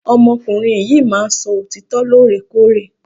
Ọmọ ọkùnrin yìí máà ń sọ òtítọ lore kore.